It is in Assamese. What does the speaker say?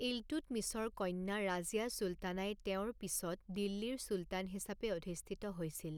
ইলতুৎমিছৰ কন্যা ৰাজিয়া চুলতানাই তেওঁৰ পিছত দিল্লীৰ চুলতান হিচাপে অধিষ্ঠিত হৈছিল।